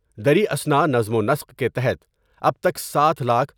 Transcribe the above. دریں اثنا نظم ونسق کے تحت اب تک ساتھ لاکھ